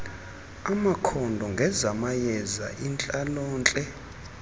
amakhondo ngezamayeza intlalontle